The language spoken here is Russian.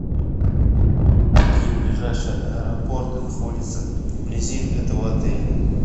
какие ближайшие аэропорты находятся вблизи этого отеля